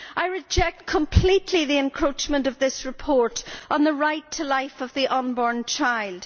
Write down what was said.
I reject completely the encroachment of this report on the right to life of the unborn child.